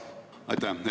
Aitäh!